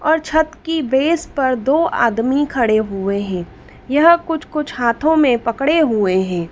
और छत की बेस पर दो आदमी खड़े हुए हैं यह कुछ कुछ हाथों में पकड़े हुए हैं।